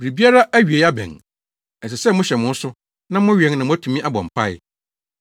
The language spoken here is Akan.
Biribiara awiei abɛn. Ɛsɛ sɛ mohyɛ mo ho so na mowɛn na moatumi abɔ mpae.